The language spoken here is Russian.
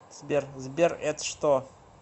сбер сбер эт что